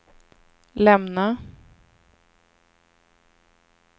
lämna